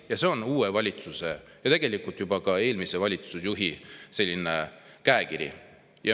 Ja see on uue valitsuse – tegelikult juba ka eelmise valitsusjuhi – käekiri.